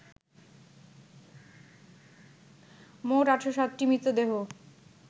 মোট ৮০৭টি মৃতদেহ